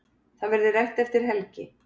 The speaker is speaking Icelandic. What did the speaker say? Það verði rætt eftir helgi.